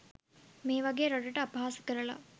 මේ වගේ රටට අපහාස කරලා